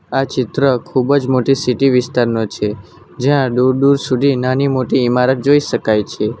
આ ચિત્ર ખૂબ જ મોટી સિટી વિસ્તારનો છે જ્યાં દૂર-દૂર સુધી નાની મોટી ઈમારત જોઈ શકાય છે.